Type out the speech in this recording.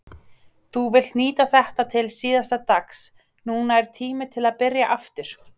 Þú vilt nýta þetta til síðasta dags, núna er tími til að byrja aftur.